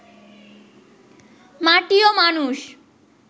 মাটি ও মানুষ